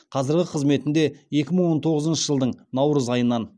қазіргі қызметінде екі мың он тоғызыншы жылдың наурыз айынан